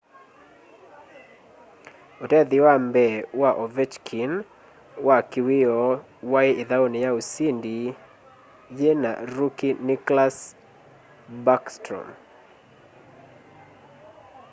utethyo wa mbee wa ovechkin wa kiwioo wai ithauni ya usindi yina rookie nicklas backstrom